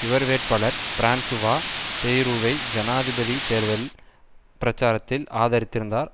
இவர் வேட்பாளர் பிரான்சுவா பேய்ரூவை ஜனாதிபதி தேர்தல் பிரச்சாரத்தில் ஆதரித்திருந்தார்